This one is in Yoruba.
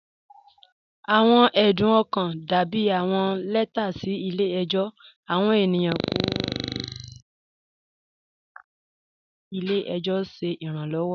Awọn ẹdún ọkan dàbí awọn lẹtà sí ilẹ̀-ẹjọ. Awọn ènìyàn kọ̀ ọ̀hùn tí̀ kò tó, wọn sí fẹ́ kí ilẹ̀-ẹjọ ṣẹ̀ iránlọ́wọ́.